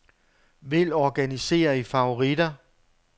Vælg organiser i favoritter.